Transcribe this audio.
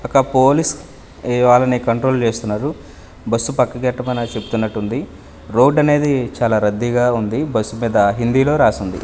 ఒక పోలీస్ ఏ వాళ్ళను కంట్రోల్ చేస్తున్నారు బస్సు పక్కకి ఎట్టమనేదో చెప్తున్నట్టుంది రోడ్ అనేది చాలా రద్దీగా ఉంది బస్ మీద హిందీలో రాసింది.